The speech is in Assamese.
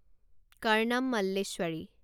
কাৰনাম মল্লেশ্বৰী